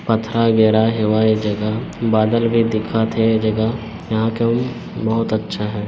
पत्थरा गेरा हेवै ए जगहा बदल भी दिखत हे ए जगह यहाँ कोई बहुत अछा है।